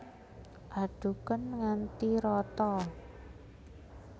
Adhuken nganti rata